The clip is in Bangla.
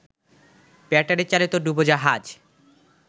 ব্যাটারিচালিত ডুবোজাহাজ